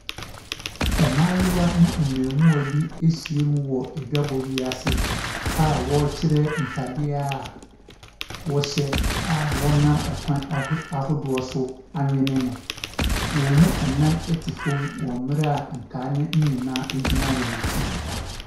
Mmaayewa ne mmarima bi ahyia wɔ adwabɔ bi ase a wɔrekyerɛ ntaade a wɔhyɛ a wɔnam akwan ahodoɔ so anwene no. Wɔn mu nan te fam wɔ bere a nkae no nyinaa gyina wɔn akyi.